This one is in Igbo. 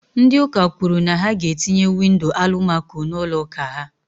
Ndị ụka kwùrù na ha ga etinye windo Alụmaco n'ụlọ ụka ha